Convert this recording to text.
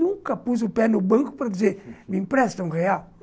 Nunca pus o pé no banco para dizer, me empresta um real.